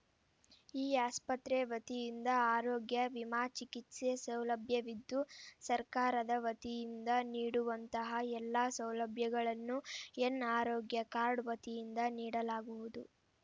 ಈ ಆಸ್ಪತ್ರೆ ವತಿಯಿಂದ ಆರೋಗ್ಯ ವಿಮಾ ಚಿಕಿತ್ಸೆ ಸೌಲಭ್ಯವಿದ್ದು ಸರ್ಕಾರದ ವತಿಯಿಂದ ನೀಡುವಂತಹ ಎಲ್ಲಾ ಸೌಲಭ್ಯಗಳನ್ನು ಯೆನ್‌ ಆರೋಗ್ಯ ಕಾರ್ಡ್‌ ವತಿಯಿಂದ ನೀಡಲಾಗುವುದು